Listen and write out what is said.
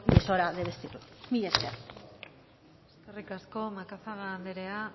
es hora de vestirlo mila esker eskerrik asko macazaga anderea